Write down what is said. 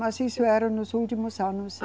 Mas isso era nos últimos anos.